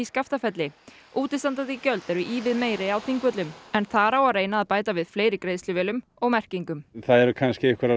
Skaftafelli útistandandi gjöld eru ívið meiri á Þingvöllum en það á að reyna að bæta með fleiri og merkingum það eru kannski einhverjar